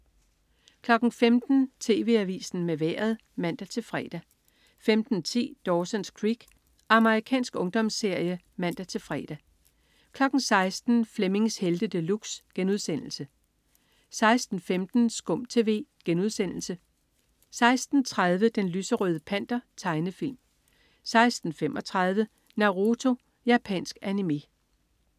15.00 TV Avisen med Vejret (man-fre) 15.10 Dawson's Creek. Amerikansk ungdomsserie (man-fre) 16.00 Flemmings Helte De Luxe* 16.15 SKUM TV* 16.30 Den lyserøde Panter. Tegnefilm 16.35 Naruto. Japansk animé